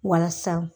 Walasa